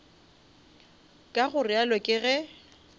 ka go realo ke ge